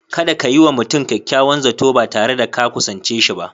Kada ka yi wa mutum kyakyawan Zato ba tare da ka kusance shi ba.